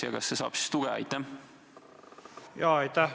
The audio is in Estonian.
Ja kas see saaks siis tuge?